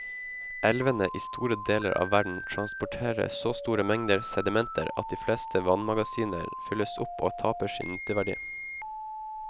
Elvene i store deler av verden transporterer så store mengder sedimenter at de fleste vannmagasiner fylles opp og taper sin nytteverdi.